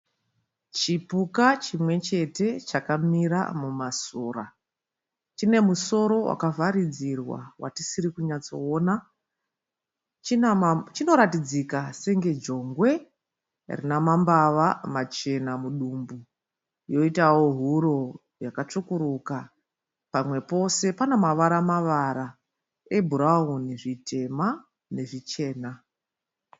Chipuka chimwe chete chakamira mumasora. Chine musoro wakavharidzirwa watisiri kunyatsoona. Chinoratidzika senge jongwe rina mambava machena mudumbu pamwe yoitawo huro yakatsvukuruka pamwe pose pana mavara mavara ebhurauni, zvitema nezvichena.